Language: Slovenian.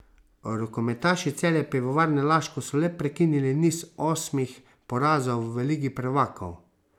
Rokometaši Celja Pivovarne Laško so le prekinili niz osmih porazov v Ligi prvakov.